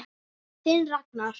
Þinn Ragnar.